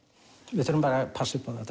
við þurfum að passa